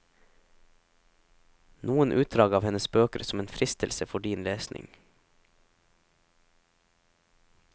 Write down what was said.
Noen utdrag av hennes bøker som en fristelse for din lesning.